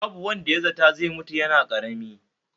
Babu wanda ya zata zai mutu yana ƙarami